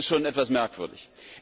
Das ist schon etwas merkwürdig.